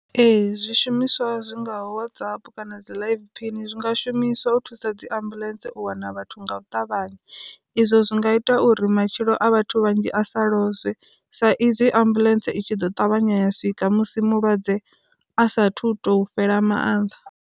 Ee zwi shumiswa zwingaho Whatsapp kana dzi live phini zwi nga shumiswa u thusa dzi ambuḽentse u wana vhathu nga u ṱavhanya, izwo zwi nga ita uri matshilo a vhathu vhanzhi a sa lozwee sa izwi ambuḽentse itshi ḓo ṱavhanya ya swika musi mulwadze a sathu to fhela maanḓa.